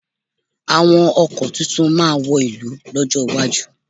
Àwọn ọkọ̀ tuntun máa wọ̀lú lọ́jọ́ iwájú.